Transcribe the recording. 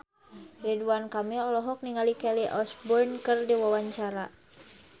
Ridwan Kamil olohok ningali Kelly Osbourne keur diwawancara